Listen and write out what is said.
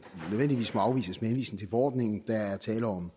nødvendigvis må afvises med henvisning til forordningen der er tale om